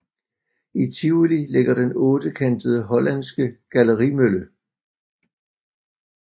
I Tivoli ligger den ottekantede hollandske gallerimølle